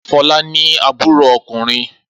Fọlá ní àbúrò ọkùnrin.